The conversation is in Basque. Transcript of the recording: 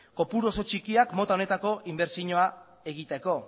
kopuru oso txikiak mota honetako inbertsioa egiteko